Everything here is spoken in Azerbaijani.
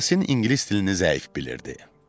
Yasin ingilis dilini zəif bilirdi.